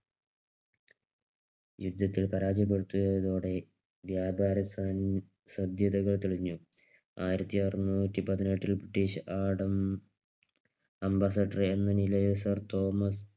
യുദ്ധത്തിൽ പരാജയപ്പെടുത്തിയതോടെ വ്യാപാര സാ സാധ്യതകൾ തെളിഞ്ഞു. ആയിരത്തിഅറുനൂറ്റി പതിനെട്ടിൽ ബ്രിട്ടീഷ് ആഡംബര അംബാസഡർ എന്ന നിലയിൽ സാർ തോമസ്